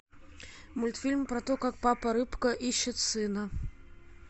мультфильм про то как папа рыбка ищет сына